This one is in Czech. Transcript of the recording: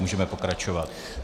Můžeme pokračovat.